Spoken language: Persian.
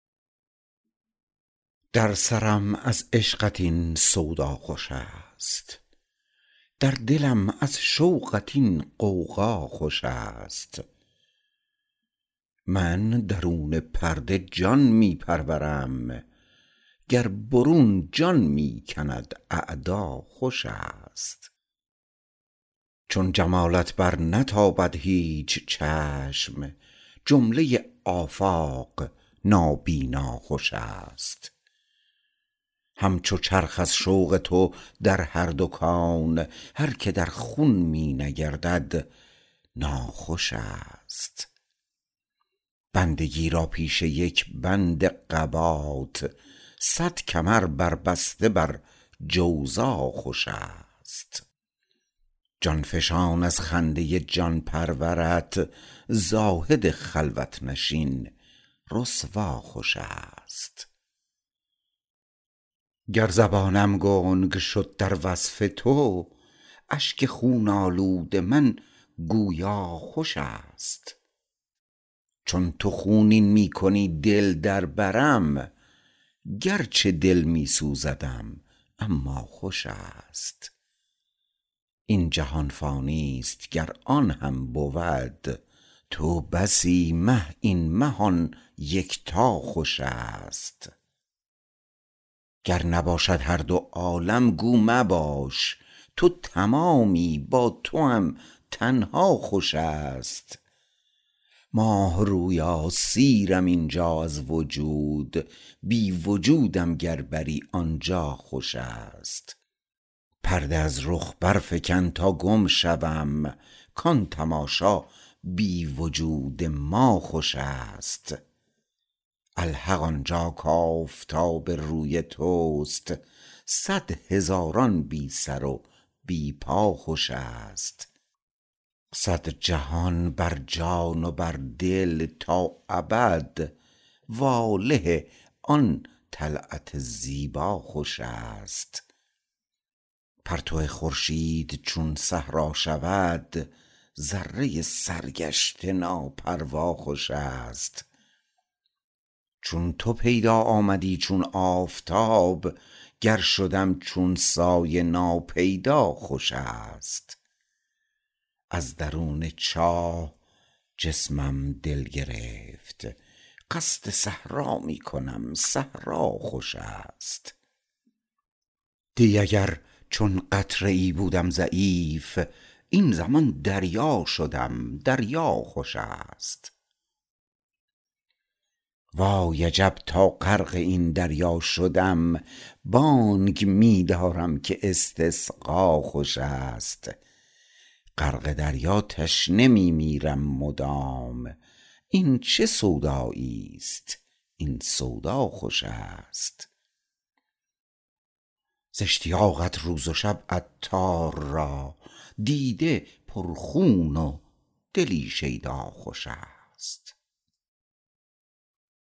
در سرم از عشقت این سودا خوش است در دلم از شوقت این غوغا خوش است من درون پرده جان می پرورم گر برون جان می کند اعدا خوش است چون جمالت برنتابد هیچ چشم جمله آفاق نابینا خوش است همچو چرخ از شوق تو در هر دو کون هر که در خون می نگردد ناخوش است بندگی را پیش یک بند قبات صد کمر بر بسته بر جوزا خوش است جان فشان از خنده جان پرورت زاهد خلوت نشین رسوا خوش است گر زبانم گنگ شد در وصف تو اشک خون آلود من گویا خوش است چون تو خونین می کنی دل در برم گرچه دل می سوزدم اما خوش است این جهان فانی است گر آن هم بود تو بسی مه این مه آن یکتا خوش است گر نباشد هر دو عالم گو مباش تو تمامی با توام تنها خوش است ماه رویا سیرم اینجا از وجود بی وجودم گر بری آنجا خوش است پرده از رخ برفکن تا گم شوم کان تماشا بی وجود ما خوش است الحق آنجا کآفتاب روی توست صد هزاران بی سر و بی پا خوش است صد جهان بر جان و بر دل تا ابد واله آن طلعت زیبا خوش است پرتو خورشید چون صحرا شود ذره سرگشته ناپروا خوش است چون تو پیدا آمدی چون آفتاب گر شدم چون سایه ناپیدا خوش است از درون چاه جسمم دل گرفت قصد صحرا می کنم صحرا خوش است دی اگر چون قطره ای بودم ضعیف این زمان دریا شدم دریا خوش است وای عجب تا غرق این دریا شدم بانگ می دارم که استسقا خوش است غرق دریا تشنه می میرم مدام این چه سودایی است این سودا خوش است ز اشتیاقت روز و شب عطار را دیده پر خون و دلی شیدا خوش است